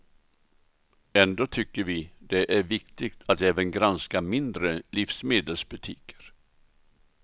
Ändå tycker vi det är viktigt att även granska mindre livsmedelsbutiker.